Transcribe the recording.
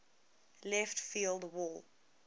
left field wall